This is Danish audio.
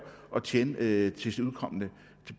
og tjene det til